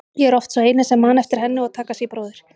Ég er oft sá eini sem man eftir henni og Takashi bróðir.